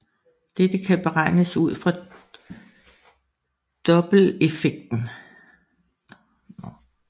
Dette kan beregnes ud fra dopplereffekten